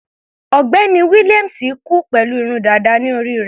Ọ̀gbẹ́ni William kú pẹ̀lú irun dàda ní orí rẹ̀.